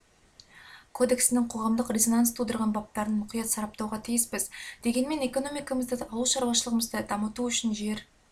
кодексінің қоғамдық резонанс тудырған баптарын мұқият сараптауға тиіспіз дегенмен экономикамызды ауыл шаруашылығымызды дамыту үшін жер